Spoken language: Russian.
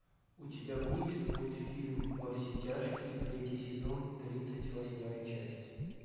у тебя будет мультфильм во все тяжкие третий сезон тридцать восьмая часть